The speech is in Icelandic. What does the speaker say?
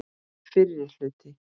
Fyrri hluti.